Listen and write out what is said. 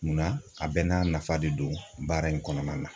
Munna a bɛɛ n'a nafa de don baara in kɔnɔna na